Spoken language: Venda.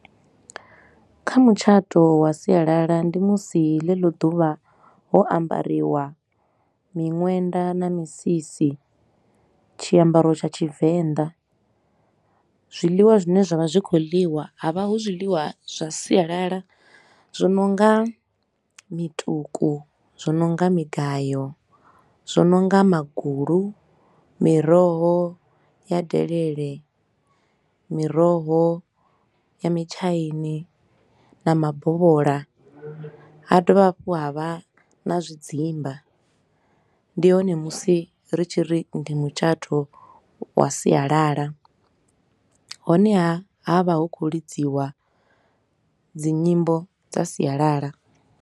Kha mutshato wa sialala ndi musi ḽeḽo ḓuvha ho ambariwa miṅwenda na misisi, tshiambaro tsha Tshivenḓa, zwiḽiwa zwine zwa vha zwi khou ḽiwa ha vha hu zwiḽiwa zwa sialala. Zwi no nga mituku, zwo no nga migayo, zwo no nga magulu, miroho ya delele, miroho ya mitshaini na mabovhola, ha dovha hafhu ha vha na zwidzimba. Ndi hone musi ri tshi ri ndi mutshato wa sialala, honeha ha vha hu khou lidziwa dzi nyimbo dza sialala.